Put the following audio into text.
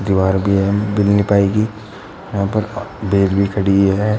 दीवार भी है यहां पर खड़ी है।